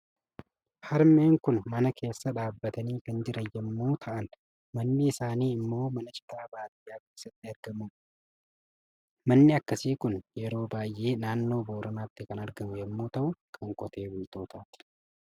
Harmee Kun mana keessa dhaabbatanii kan jiran yommuu ta'an, manni isaanii immoo mana citaa kan baadiyyaa keessatti ijaraamudha. Manni akkasii kun yeroo baay'ee naannoo Booranaatti kan argamu yommuu ta'u kan qotee bultootaati.